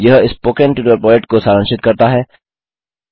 यह spoken tutorial project को सारांशित करता है